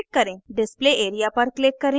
display area पर click करें